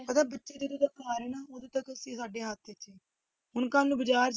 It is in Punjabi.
ਅਗਰ ਬੱਚੇ ਜਦੋਂ ਤੱਕ ਘਰ ਹੈ ਨਾ ਉਦੋਂ ਤੱਕ ਸਾਡੇ ਹੱਥ ਵਿੱਚ ਹੈ, ਹੁਣ ਕੱਲ੍ਹ ਨੂੰ ਬਾਜ਼ਾਰ